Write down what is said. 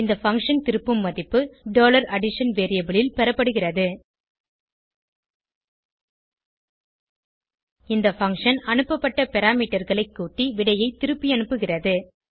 இந்த பங்ஷன் திருப்பும் மதிப்பு addition வேரியபிள் ல் பெறப்படுகிறது இந்த பங்ஷன் அனுப்பப்பட்ட parameterகளை கூட்டி விடையை திருப்பியனுப்புகிறது